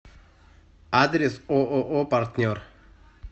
адрес ооо партнер